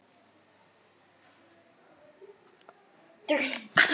Og allt í einu fer ég að hugsa um nöfn.